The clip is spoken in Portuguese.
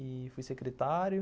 E fui secretário.